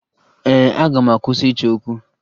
Ee, aga m akwụsị ịchọ okwu